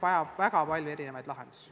Riho Breivel, palun!